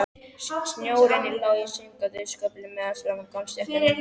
Snjórinn lá í síminnkandi sköflum meðfram gangstéttunum.